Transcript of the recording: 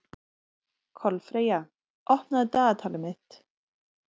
Kolfreyja, opnaðu dagatalið mitt.